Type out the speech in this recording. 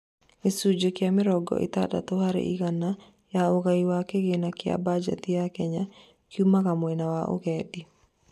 gĩcunjĩ kia mĩrongo itandatu harĩ igana ya ũgai wa kĩgĩna gĩa mbajeti ya Kenya, kiumaga mwena wa ũgendi